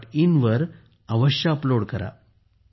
in वर अवश्य upload करा